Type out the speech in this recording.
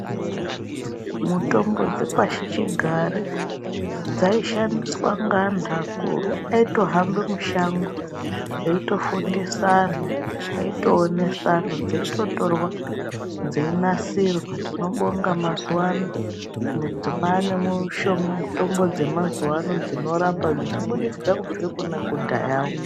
Mutombo dzepashichigare dzaishandiswa ngaantu akuru. Aitohambe mushango, eitofundisa anhu, aitoonesa anhu, dzeitotorwa, dzeinasirwa. Tinobonga mazuvano, kwane mitombo dzemazuva ano dzinorapa, dzichibudikidza kubvire kune yekudhayawo.